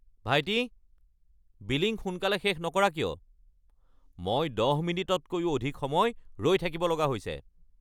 ভাইটি, বিলিং সোনকালে শেষ নকৰা কিয়! মই ১০ মিনিটতকৈও অধিক সময় ৰৈ থাকিব লগা হৈছে।